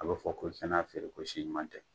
A b'a fɔ ko i ka n'a feere ko si ɲuman tɛ;